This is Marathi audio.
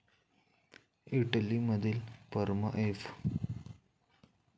इटली मधील परमा एफ